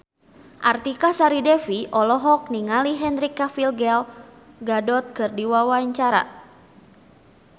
Artika Sari Devi olohok ningali Henry Cavill Gal Gadot keur diwawancara